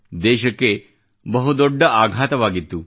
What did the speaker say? ದೇಶಕ್ಕೆ ಬಹುದೊಡ್ಡ ಆಘಾತವಾಗಿತ್ತು